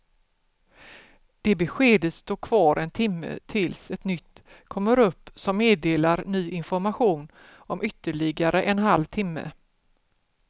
Det beskedet står kvar en timme tills ett nytt kommer upp som meddelar ny information om ytterligare en halv timme.